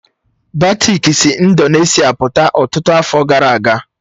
Batik si Indonesia pụta ọtụtụ afọ gara aga